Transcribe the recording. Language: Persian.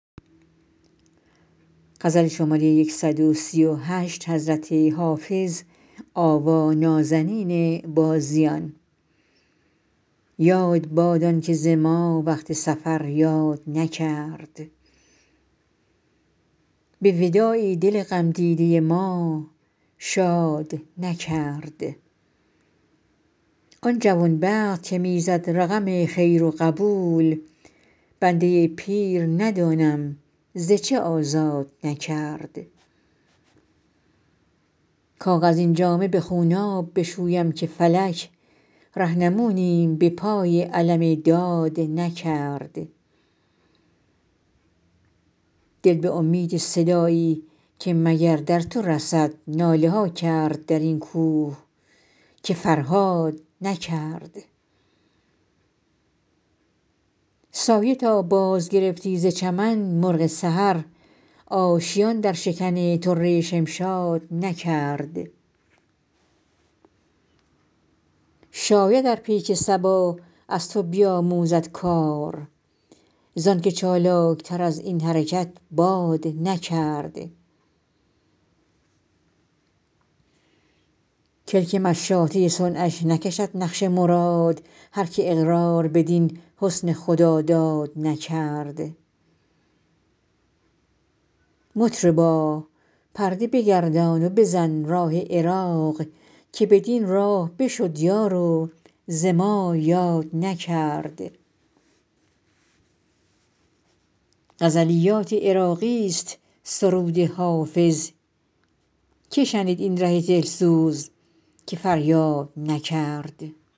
یاد باد آن که ز ما وقت سفر یاد نکرد به وداعی دل غم دیده ما شاد نکرد آن جوان بخت که می زد رقم خیر و قبول بنده پیر ندانم ز چه آزاد نکرد کاغذین جامه به خونآب بشویم که فلک رهنمونیم به پای علم داد نکرد دل به امید صدایی که مگر در تو رسد ناله ها کرد در این کوه که فرهاد نکرد سایه تا بازگرفتی ز چمن مرغ سحر آشیان در شکن طره شمشاد نکرد شاید ار پیک صبا از تو بیاموزد کار زآن که چالاک تر از این حرکت باد نکرد کلک مشاطه صنعش نکشد نقش مراد هر که اقرار بدین حسن خداداد نکرد مطربا پرده بگردان و بزن راه عراق که بدین راه بشد یار و ز ما یاد نکرد غزلیات عراقی ست سرود حافظ که شنید این ره دل سوز که فریاد نکرد